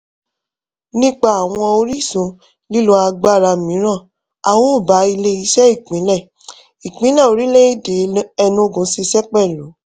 nípa àwọn orísun lílo agbára mìíràn a ó bá ile-iṣẹ ìpínlẹ̀ ìpínlẹ̀ orílẹ̀-èdè enugu ṣiṣẹ́ pẹ̀lú